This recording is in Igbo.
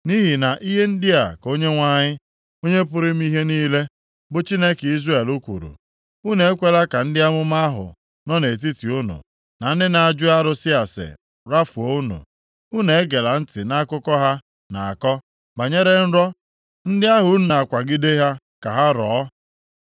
Nʼihi na ihe ndị a ka Onyenwe anyị, Onye pụrụ ime ihe niile bụ Chineke Izrel kwuru, “Unu ekwela ka ndị amụma ahụ nọ nʼetiti unu, na ndị na-ajụ arụsị ase rafuo unu; unu egela ntị nʼakụkọ ha na-akọ banyere nrọ ndị ahụ unu na-akwagide ha ka ha rọọ.